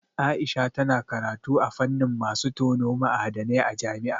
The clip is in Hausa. Aisha tana karatu a fannin masu tono ma'adanai a jami'a.